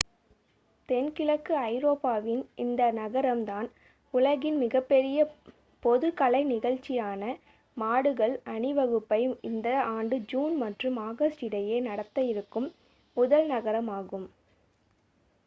தென்கிழக்கு ஐரோப்பாவின் இந்த நகரம் தான் உலகின் மிகப்பெரிய பொது கலை நிகழ்சியான மாடுகள் அணிவகுப்பை இந்த ஆண்டு ஜூன் மற்றும் ஆகஸ்ட் இடையே நடத்த இருக்கும் முதல் நகரம் ஆகும்